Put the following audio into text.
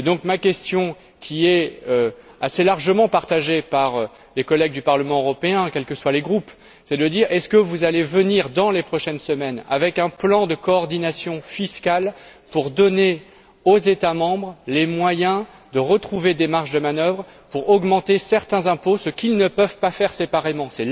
Ma question, qui est assez largement partagée par les collègues du Parlement européen, quels que soient les groupes, est la suivante allez vous proposer dans les prochaines semaines un plan de coordination fiscale pour donner aux États membres les moyens de retrouver des marges de manœuvre afin de pouvoir augmenter certains impôts, ce qu'ils ne peuvent pas faire séparément?